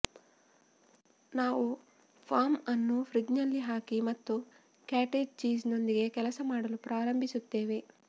ನಾವು ಫಾರ್ಮ್ ಅನ್ನು ಫ್ರಿಜ್ನಲ್ಲಿ ಹಾಕಿ ಮತ್ತು ಕಾಟೇಜ್ ಚೀಸ್ ನೊಂದಿಗೆ ಕೆಲಸ ಮಾಡಲು ಪ್ರಾರಂಭಿಸುತ್ತೇವೆ